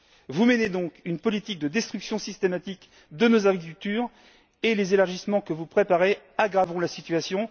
Vous menez donc une politique de destruction systématique de nos agricultures et les élargissements que vous préparez aggraveront la situation.